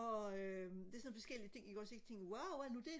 og øh det sådan nogle forskellige ting ikke også ikke tænkte wow hvad er nu det